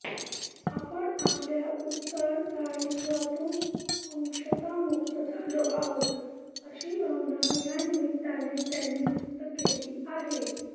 आपण आपल्या उत्तरदायित्वातून अंशतः मुक्त झालो आहोत अशी भावना यानिमित्ताने त्यांनी व्यक्त केली आहे